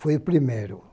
Foi o primeiro.